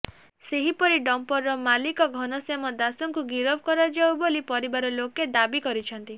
ସେହିପରି ଡମ୍ପର ମାଲିକ ଘନଶ୍ୟାମ ଦାସ୍ ଙ୍କୁ ଗିରଫ କରାଯାଉ ବୋଲି ପରିବାର ଲୋକେ ଦାବି କରିଛନ୍ତି